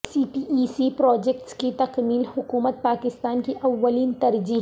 سی P E C projects کی تکمیل حکومت پاکستان کی اولین ترجیح